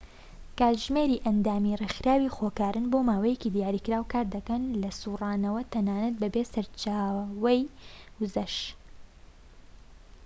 کاتژمێری ئەندامی ڕێکخەری خۆکارن بۆماوەیەکی دیاریکراو کار دەکەن لە سورانەوە تەنانەت بەبێ سەرچاوەی وزەش